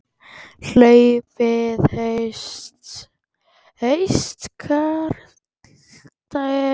Hlaupið í haustkuldanum